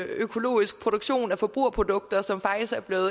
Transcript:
økologisk produktion af forbrugerprodukter som faktisk er blevet